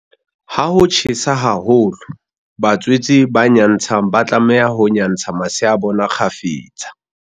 Ha ho tjhesa haholo, batswetse ba nyantshang ba tlameha ho nyantsha masea a bona kgafetsa.